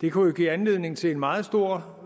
det kunne jo give anledning til en meget stor